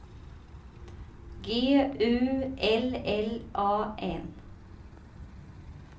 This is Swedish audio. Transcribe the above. G U L L A N